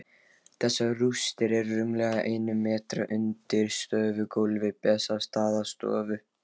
Þessar rústir eru rúmlega einum metra undir stofugólfi Bessastaðastofu.